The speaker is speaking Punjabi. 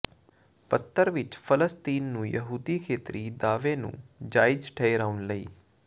ਪੱਤਰ ਵਿੱਚ ਫਲਸਤੀਨ ਨੂੰ ਯਹੂਦੀ ਖੇਤਰੀ ਦਾਅਵੇ ਨੂੰ ਜਾਇਜ਼ ਠਹਿਰਾਉਣ ਲਈ